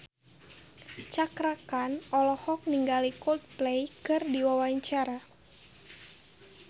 Cakra Khan olohok ningali Coldplay keur diwawancara